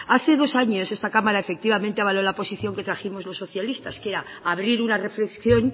hace dos años esta cámara efectivamente avaló la posición que trajimos los socialistas que era abrir una reflexión